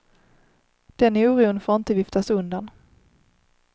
Den oron får inte viftas undan.